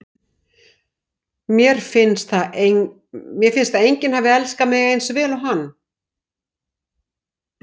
Mér finnst að enginn hafi elskað mig eins vel og hann.